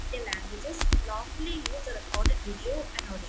Indian‍ languages use the recorded video and audio.